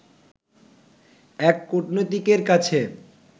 এক কূটনীতিকের কাছে